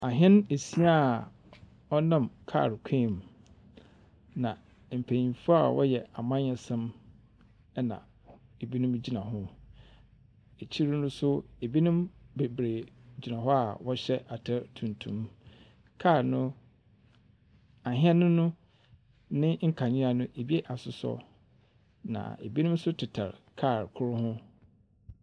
Ahɛn asia a ɔnam kaal kwan mu. Na mpanyinfo a wɔyɛ amanyɛsɛm ɛna ebinom egyina ho. Ekyir no so ebinom bebree gyina hɔ a wɔhyɛ atar tuntum Ahɛn no ne nkanea no ebi asosɔ, na ebinom nso tetare kaal kor ho.